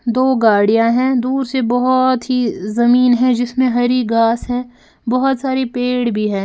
दो गाड़ियां हैं दूर से बहुत ही जमीन है जिसमें हरी घास है बहुत सारी पेड़ भी है।